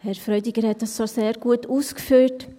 Herr Freudiger hat das schon sehr gut ausgeführt.